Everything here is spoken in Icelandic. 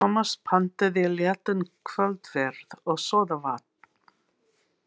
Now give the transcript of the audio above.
Tómas pantaði léttan kvöldverð og sódavatn.